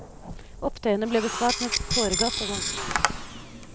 Opptøyene ble besvart med tåregass og vannkanoner.